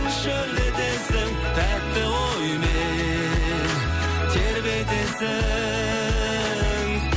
шөлдетесің тәтті оймен тербетесің